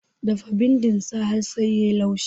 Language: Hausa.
Dafa bindin sa har sai yayi laushi